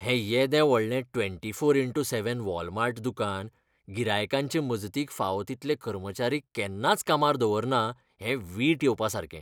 हें येदें व्हडलें twenty four into seven Walmart दुकान गिरायकांचे मजतीक फावो तितले कर्मचारी केन्नाच कामार दवरना, हें वीट येवपासारकें